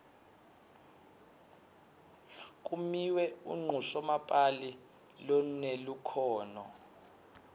kimiwe unqusomapali lonelukhono